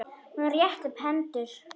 Hún rétti upp hendur.